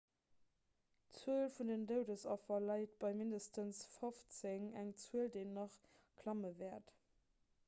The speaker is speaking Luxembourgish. d'zuel vun den doudesaffer läit bei mindestens 15 eng zuel déi nach klamme wäert